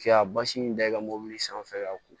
K'i ka basi in da i ka mɔbili sanfɛ ka ko